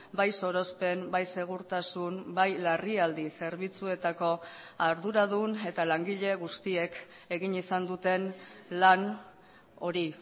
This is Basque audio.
bai sorospen bai segurtasun bai larrialdi zerbitzuetako arduradun eta langile guztiek egin izan duten lan hori